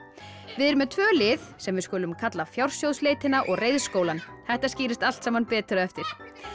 við erum með tvö lið sem við skulum kalla og reiðskólann þetta skýrist allt saman betur á eftir